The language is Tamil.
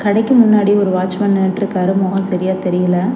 கடைக்கு முன்னாடி ஒரு வாட்ச்மேன் நின்னுட்டுருக்காரு மொகோ சரியா தெரியல.